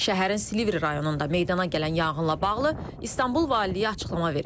Şəhərin Silivri rayonunda meydana gələn yanğınla bağlı İstanbul valiliyi açıqlama verib.